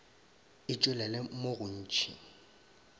e tšwelele mo go ntši